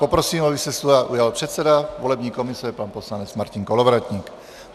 Poprosím, aby se slova ujal předseda volební komise pan poslanec Martin Kolovratník.